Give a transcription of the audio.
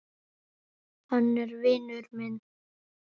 Hann er vinur minn